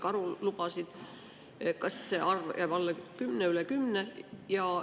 Kas see arv jääb alla kümne või üle kümne?